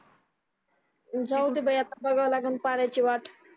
जाऊ दे बाई आता बघावं लागन पाण्याची वाट